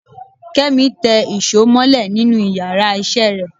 Kemi tẹ́ ìsọ molẹ̀ nínù íyarà iṣẹ re